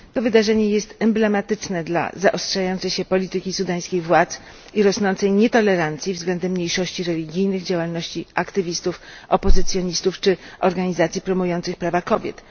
To wydarzenie jest emblematyczne dla zaostrzającej się polityki sudańskich władz i rosnącej nietolerancji względem mniejszości religijnych, działalności aktywistów, opozycjonistów czy organizacji promujących prawa kobiet.